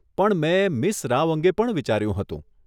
પણ મેં મીસ રાવ અંગે પણ વિચાર્યું હતું.